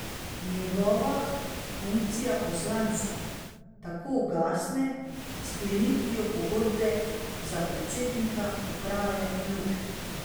Njegova funkcija poslanca tako ugasne s sklenitvijo pogodbe za predsednika uprave Luke.